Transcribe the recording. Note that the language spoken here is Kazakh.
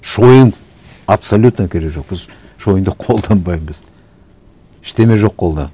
шойын абсолютно керегі жоқ біз шойынды колданбаймыз ештеңе жоқ қолда